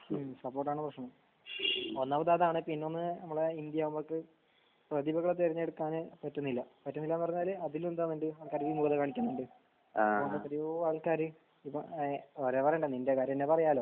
ഹ്മ് support ആണ് പ്രശ്നം. ഒന്നാമത് അതാണ് പിന്നൊന്ന് ഇങ്ങളെ ഇന്ത്യ നമ്മക്ക് പ്രതിഭകളെ തെരെഞ്ഞെടുക്കാൻ പറ്റുന്നില്ല. പറ്റുന്നില്ല എന്ന് പറഞ്ഞാല് അതിലെന്താണ് വേണ്ട് അതിലും കൂടുതൽ കാണിക്കുന്നുണ്ട്. അങ്ങനെ എത്രയോ ആൾക്കാർ ഇപ്പൊ വേറെ വേറെ കളിന്റെ കാരണം എന്തെന്ന് അറിയാല്ലോ